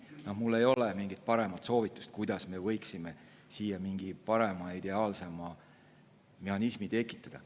Mul ei ole paremat soovitust, kuidas me võiksime mingi parema ja ideaalsema mehhanismi tekitada.